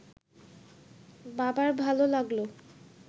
বাবার ভাল লাগল